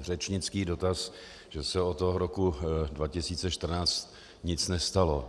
řečnický dotaz, že se od toho roku 2014 nic nestalo.